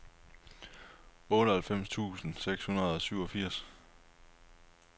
otteoghalvfems tusind seks hundrede og syvogfirs